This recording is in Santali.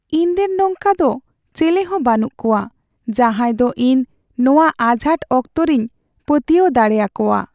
ᱤᱧᱨᱮᱱ ᱱᱚᱝᱠᱟ ᱫᱚ ᱪᱮᱞᱮᱦᱚᱸ ᱵᱟᱹᱱᱩᱜ ᱠᱚᱣᱟ ᱡᱟᱦᱟᱸᱭ ᱫᱚ ᱤᱧ ᱱᱚᱶᱟ ᱟᱡᱷᱟᱴ ᱚᱠᱛᱚᱨᱤᱧ ᱯᱟᱹᱛᱭᱟᱹᱣ ᱫᱟᱲᱮ ᱟᱠᱚᱣᱟ ᱾